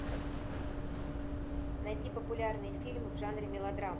найти популярный фильм в жанре